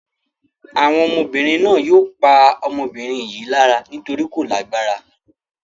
Àwọn ọmọbìnrin náà yóò pa ọmọbìnrin yìí lára nítorí kò lágbára.